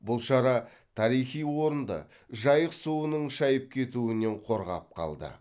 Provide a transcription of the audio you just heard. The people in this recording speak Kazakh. бұл шара тарихи орынды жайық суының шайып кетуінен қорғап қалды